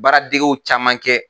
Baaradegew caman kɛ